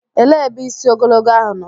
Elee ebe isi ogologo ahụ nọ?